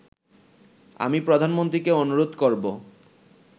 আমি প্রধানমন্ত্রীকে অনুরোধ করবো